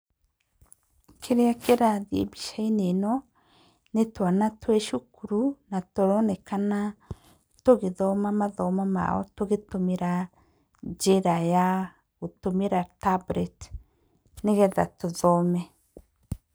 Kĩrĩa kĩrathiĩ mbica-inĩ ĩno, nĩ twana twĩ cukuru na tũronekana tũgĩthoma mathomo mao tũgĩtũmĩra njĩra ya gũtũmĩra tablet nĩgetha tũthome.